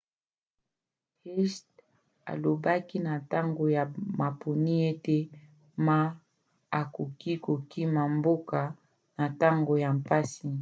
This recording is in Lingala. hsieh alobaki na ntango ya maponi ete ma akoki kokima mboka na ntango ya mpasi